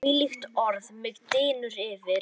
hvílíkt orð mig dynur yfir!